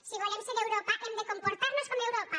si volem ser d’europa hem de comportarnos com europa